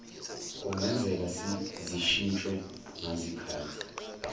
kungenzeka zishintshwe ngazikhathi